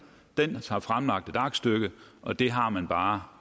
den har fremlagt et aktstykke og det har man bare